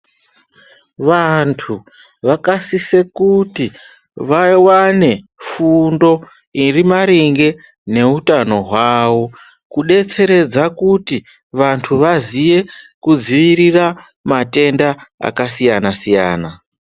Vantu vakasisa kuti vawane fundo iri maringe nehutano hwavo kudetseredza kuti vantu vaziye kudzivirira matenda akasiyana siyana.